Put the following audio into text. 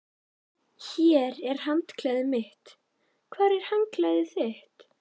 Hér er handklæðið mitt. Hvar er handklæðið þitt?